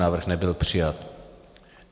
Návrh nebyl přijat.